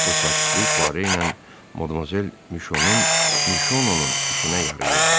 Bu sakitlik Poire ilə Madmazel Mişononun işinə yarayırdı.